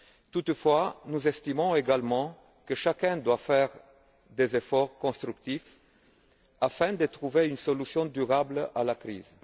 Toutefois, nous estimons également que chacun doit faire des efforts constructifs afin de trouver une solution durable à la crise.